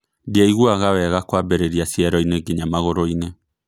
Ndiaiguaga wega kwambirĩria cieroinĩ nginya magoroinĩ